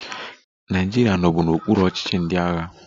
Naịjirịa nọbu n'okpuru ọchịchị ndị agha